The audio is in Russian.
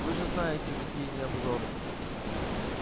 вы же знаете какие они обжоры